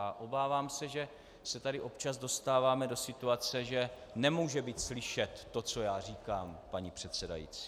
A obávám se, že se tady občas dostáváme do situace, že nemůže být slyšet to, co já říkám, paní předsedající.